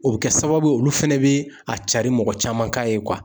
O bɛ kɛ sababu ye olu fana bɛ a carin mɔgɔ caman k'a ye